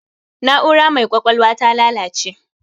Na'ura mai ƙwaƴwalwar ta lalace